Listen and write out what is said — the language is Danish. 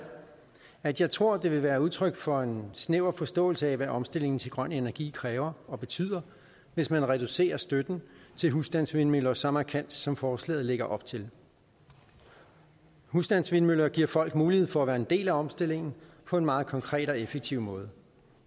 at jeg tror det vil være udtryk for en snæver forståelse af hvad omstillingen til grøn energi kræver og betyder hvis man reducerer støtten til husstandsvindmøller så markant som forslaget lægger op til husstandsvindmøller giver folk mulighed for at være en del af omstillingen på en meget konkret og effektiv måde